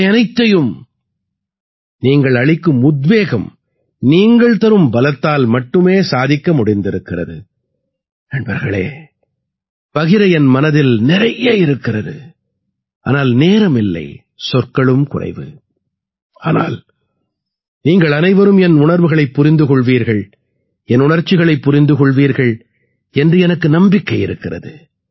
இவை அனைத்தையும் நீங்கள் அளிக்கும் உத்வேகம் நீங்கள் தரும் பலத்தால் மட்டுமே சாதிக்க முடிந்திருக்கிறது